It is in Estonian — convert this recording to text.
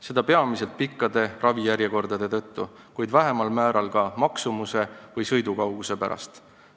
Seda peamiselt pikkade ravijärjekordade tõttu, kuid vähemal määral ka teenuste maksumuse või kauguse pärast.